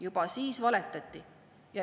Juba siis valetati.